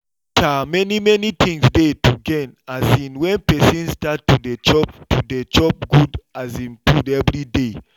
um many many things dey to gain um when person start to dey chop to dey chop good um food every day